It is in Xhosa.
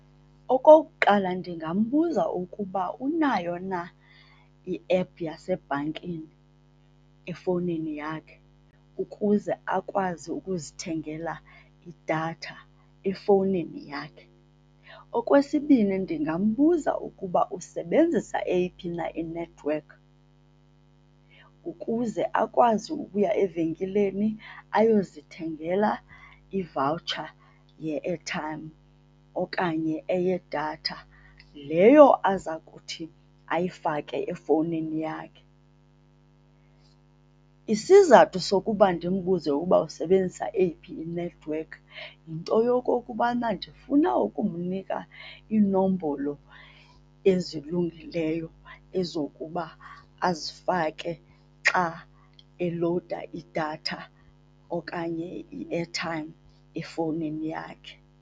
Okokuqala, ndingambuza ukuba unayo na iephu yasebhankini efowunini yakhe ukuze akwazi ukuzithengela idatha efowunini yakhe. Okwesibini, ndingambuza ukuba usebenzisa eyiphi na inethiwekhi ukuze akwazi ukuya evenkileni ayozithengela ivawutsha ye-airtime okanye eyedatha leyo aza kuthi ayifake efowunini yakhe. Isizathu sokuba ndimbuze uba usebenzisa eyiphi inethiwekhi yinto yokokubana ndifuna ukumnika iinombolo ezilungileyo ezokuba azifake xa elowuda idatha okanye i-airtime efowunini yakhe.